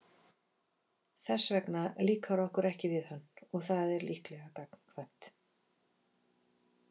Þess vegna líkar okkur ekki við hann og það er líklega gagnkvæmt.